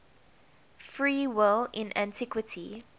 free will in antiquity